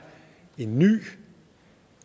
en ny